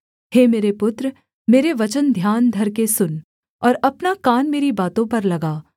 हे मेरे पुत्र मेरे वचन ध्यान धरके सुन और अपना कान मेरी बातों पर लगा